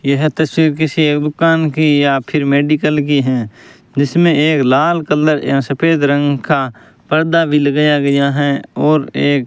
यह तस्वीर किसी एक दुकान की या फिर मेडिकल की है जिसमें एक लाल कलर या सफेद रंग का पर्दा भी लगाया गया है और एक --